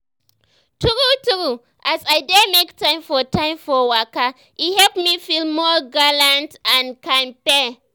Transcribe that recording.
true true as i dey make time for time for waka e help me feel more gallant and kampe.